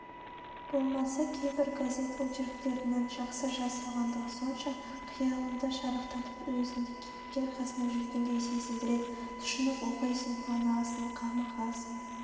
болмаса кейбір газет очерктерінің жақсы жазылғандығы сонша қиялыңды шарықтатып өзіңді кейіпкер қасында жүргендей сезіндіреді тұшынып оқисың қуанасың қамығасың